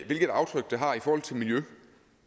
hvilket aftryk det har i forhold til miljø